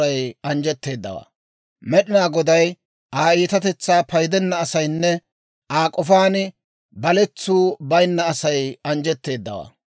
Med'inaa Goday Aa iitatetsaa paydenna asaynne Aa k'ofaan baletsu bayinna Asay anjjetteeddawaa.